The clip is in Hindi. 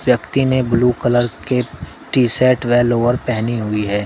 व्यक्ति ने ब्लू कलर के टी शर्ट व लोअर पहनी हुई है।